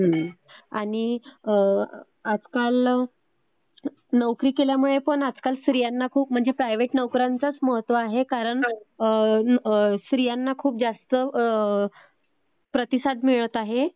आणि आजकाल नोकरी केल्यामुळे पण आजकाल स्त्रियांना खूप म्हणजे प्रायव्हेट नोकऱ्यांचाच महत्व आहे कारण स्त्रियांना खूप जास्त प्रतिसाद मिळत आहे.